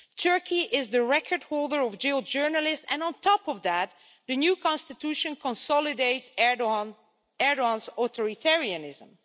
Turkey is the record holder of jailed journalists and on top of that, the new constitution consolidates Erdoğan's authoritarianism.